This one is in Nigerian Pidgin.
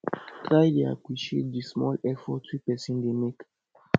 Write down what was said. try dey appreciate di small effort wey pesin dey mek